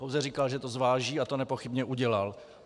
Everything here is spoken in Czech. Pouze říkal, že to zváží, a to nepochybně udělal.